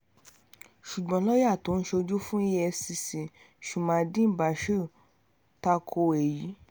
ṣùgbọ́n lọ́ọ́yà tó ń ṣojú fún efcc shamuddeen bashir ta ko èyí